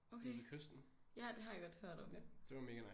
Okay ja det har jeg godt hørt om